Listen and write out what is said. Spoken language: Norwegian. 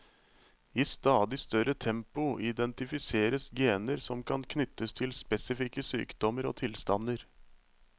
I stadig større tempo identifiseres gener som kan knyttes til spesifikke sykdommer og tilstander.